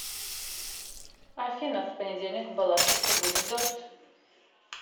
афина в понедельник в балашихе будет дождь